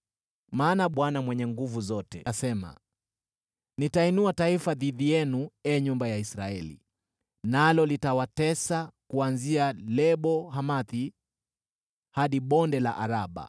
Maana Bwana Mungu Mwenye Nguvu Zote asema, “Nitainua taifa dhidi yenu, ee nyumba ya Israeli, nalo litawatesa kuanzia Lebo-Hamathi hadi Bonde la Araba.”